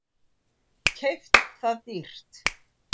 Keypt það dýrt.